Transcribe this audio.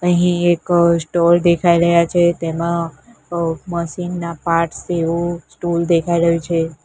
અહીં એક અ સ્ટોલ દેખાય રહ્યા છે તેમાં અ મશીન નાં પાર્ટ્સ જેવું સ્ટોલ દેખાય રહ્યું છે.